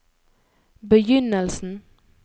begynnelsen